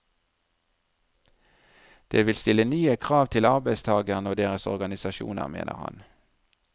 Det vil stille nye krav til arbeidstagerne og deres organisasjoner, mener han.